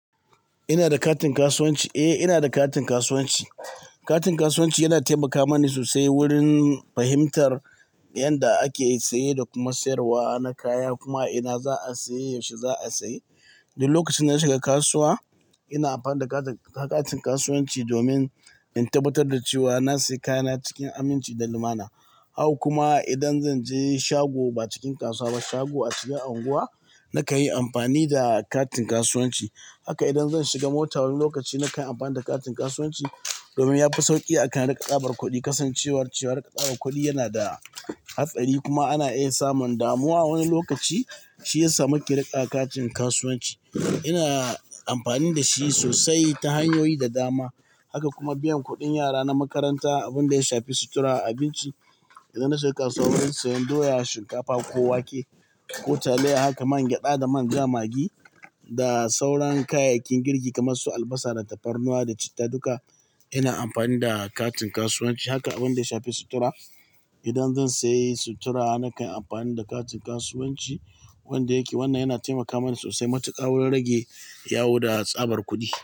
Ina da katin kasuwanci, eh ina da katin kasuwanci. Katin kasuwanci yana taimaka mani sosai wurin fahimtar yanda ake saye da kuma sayarwa na kaya, kuma ina za a saye, yaushe za a saye. Da lokacin na shiga kasuwa ina amfani da ka-katin kasuwanci domin in tabbatar da cewa na sayi kayana cikin aminci da lumana. Haka kuma idan zan je shago ba cikin kasuwa ba, shago a cikin unguwa, na kan yi amfani da katin kasuwanci. Haka idan zan shiga mota wani lokaci na kai amfani da katin kasuwanci domin ya fi sauƙi akan riƙa tsabar kuɗi. Kasancewar cewa riƙa tsabar kuɗi yana da hatsari kuma ana iya samun damuwa wani lokaci shi ya sa muke riƙa katin kasuwanci. Ina amfani da shi sosai ta hanyoyi da dama. Haka kuma biyan kuɗin yara na makaranta, abin da ya shafi sutura, abinci. Idan na shiga kasuwa don siyan doya, shinkafa ko wake, ko taliya, haka man gyaɗa da manja, magi da sauran kayayyakin girki kamar su albasa da tafarnuwa da citta, duka ina amfani da katin kasuwanci. Haka abin da ya shafi sutura, idan zan sayi sutura na kan amfani da katin kasuwanci wanda yake wannan yana taimaka mana sosai matuƙa wurin rage yawo da tsabar kuɗi.